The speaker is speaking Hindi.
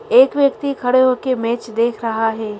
एक व्यक्ति खड़े होकर मैच देख रहा है।